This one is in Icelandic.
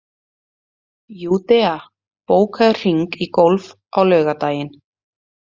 Júdea, bókaðu hring í golf á laugardaginn.